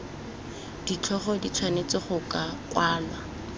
ditlhogo di tshwanetse go kwalwa